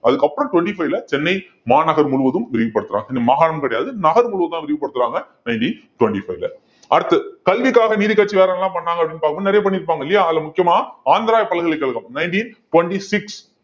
அதுக்கப்புறம் twenty-five ல சென்னை மாநகர் முழுவதும் விரிவுபடுத்துறாங்க இந்த மாகாணம் கிடையாது நகர் முழுவதும்தான் விரிவுபடுத்துறாங்க nineteen twenty-five ல அடுத்து கல்விக்காக நீதிக்கட்சி வேறென்னெல்லாம் பண்ணாங்க அப்படின்னு பார்க்கும் போது நிறைய பண்ணிருப்பாங்க இல்லையா அதுல முக்கியமா ஆந்திரா பல்கலைக்கழகம் nineteen twenty-six